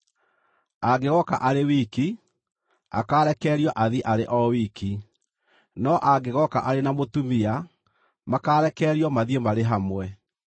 Angĩgooka arĩ wiki, akaarekererio athiĩ arĩ o wiki; no angĩgooka arĩ na mũtumia, makaarekererio mathiĩ marĩ hamwe.